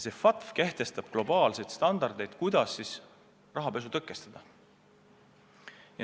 See FATF kehtestab globaalseid standardeid, kuidas rahapesu tõkestada.